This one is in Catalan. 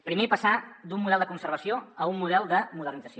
primer passar d’un model de conservació a un model de modernització